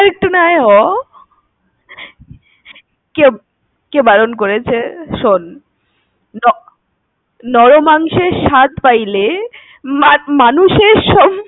আর একটু নয় হ। কে~কে বারণ করেছে, শোন। ন~নর মাংসের স্বাদ পাইলে মানুষের